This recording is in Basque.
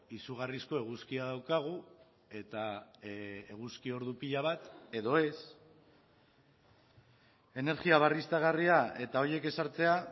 izugarrizko eguzkia daukagu eta eguzki ordu pila bat edo ez energia berriztagarria eta horiek ezartzea